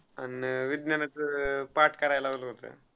आणि विज्ञानाच पाठ करायला लावला होता.